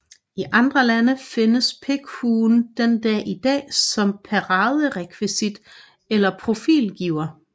I andre lande findes pikkelhuen den dag i dag som paraderekvisit eller profilgiver